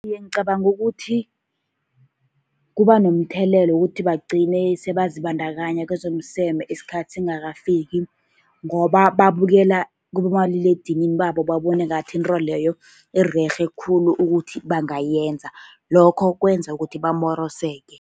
Iye, ngicabanga ukuthi kuba nomthelela wokuthi bagcine sele bazibandakanya kwezomseme isikhathi singakafiki, ngoba babukela kibomaliledinini babo, babone ngathi into leyo irerhe khulu ukuthi bangayenza. Lokho kwenza ukuthi bamoroseke.